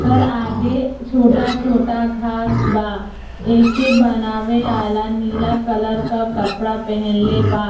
कर आगे छोटा-छोटा घास बा। एके बनावे आला नीला कलर क कपड़ा पेहेनले बा।